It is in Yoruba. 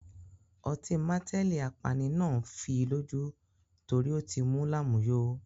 Ọtí mateli apani náà ń fii lójú torí ó ti mú lámùyo.